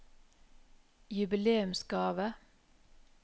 jubileumsgave